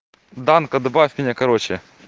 данко добавь меня короче